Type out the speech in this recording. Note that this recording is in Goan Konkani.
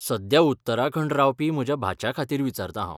सध्या उत्तराखंड रावपी म्हज्या भाच्याखातीर विचारतां हांव.